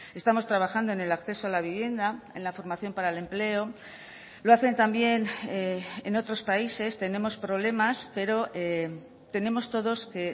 estamos trabajando en el acceso a la vivienda en la formación para el empleo lo hacen también en otros países tenemos problemas pero tenemos todos que